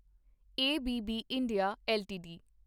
A B B India LTD